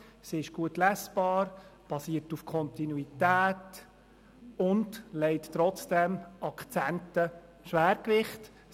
Sie ist gut lesbar, basiert auf Kontinuität und setzt trotzdem Akzente und legt Schwergewichte.